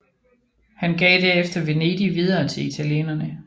Han gav derefter Venedig videre til italienerne